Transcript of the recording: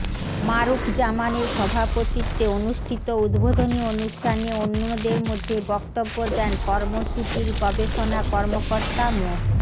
মারুফ জামানের সভাপতিত্বে অনুষ্ঠিত উদ্বোধনী অনুষ্ঠানে অন্যদের মধ্যে বক্তব্য দেন কর্মসূচির গবেষণা কর্মকর্তা মো